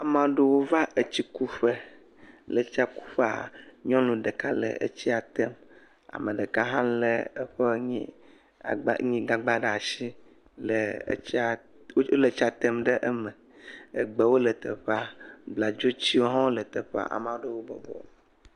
Ame aɖewo va etsi kuƒe, le estia kuyƒea nyɔnu ɖeka le etsia tem ame ɖeka hã lé eƒe nuyi agba.. gagba ɖe asi, le..wole etsia tem ɖe eme, egbewo le teƒea, bladzotiwo tse le teƒea.